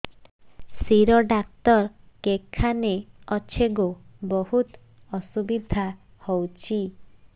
ଶିର doctor କେଖାନେ ଅଛେ ଗୋ ବହୁତ୍ ଅସୁବିଧା ହଉଚି